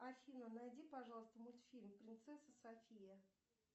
афина найди пожалуйста мультфильм принцесса софия